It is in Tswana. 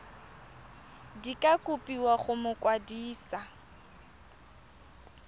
di ka kopiwa go mokwadise